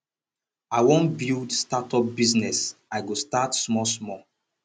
i wan build start up business i go start small small